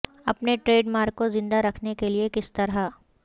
اپنے trademark کو زندہ رکھنے کے لئے کس طرح